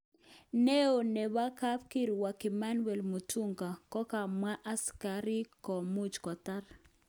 Neo nebo kapkirwok Emmanuel Mutunga kokamwa askikarik komuch kotar.